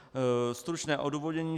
Stručné odůvodnění.